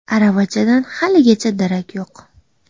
Aravachadan haligacha darak yo‘q.